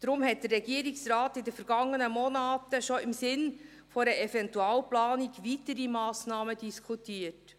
Deshalb diskutierte der Regierungsrat bereits in den vergangenen Monaten im Sinne einer Eventualplanung weitere Massnahmen.